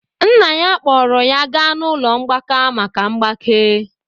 nna ya kpọọrọ ya gaa n'ụlọ mgbaka maka mgbake